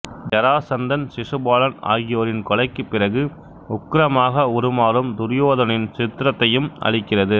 ஜராசந்தன் சிசுபாலன் ஆகியோரின் கொலைக்குப் பிறகு உக்கிரமாக உருமாறும் துரியோதனின் சித்திரத்தையும் அளிக்கிறது